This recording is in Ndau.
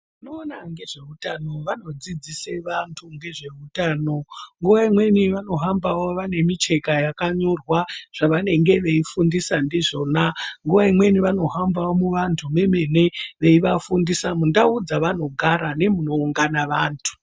Vanoona ngezveutano vanodzidzise vantu ngezveutano. Nguva imweni vanohambavo vane micheka yakanyorwa zvavanenge veifundisa ndizvona. Nguva imweni vanohambavo muvantu memene veivafundisa mundau dzevanogara nemunoungana vantu.